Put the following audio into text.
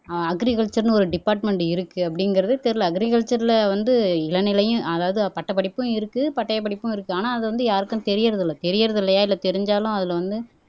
ஆஹ் அக்ரிகல்ச்சர்ன்னு ஒரு டிபார்ட்மென்ட் இருக்கு அப்படிங்கிறதே தெரியலே அக்ரிகல்ச்சர்ல வந்து இளநிலையும் அதாவது பட்டப்படிப்பும் இருக்கு பட்டயப்படிப்பும் இருக்கு ஆனா அது வந்து யாருக்கும் தெரியறது இல்லை தெரியறது இல்லையா இல்லை தெரிஞ்சாலும் அதுல வந்து